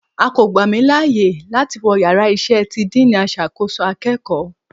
A ko gba mi laaye lati wọ ìyára iṣẹ tí diiní asàkọsọ akeéko